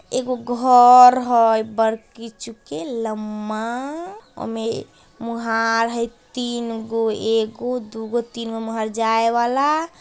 एगो घोर हैय बड़की चुके लंबा उमे मुहार हैय तीन गो एगो दुगो तीनगो मुहार हैय जाए वाला --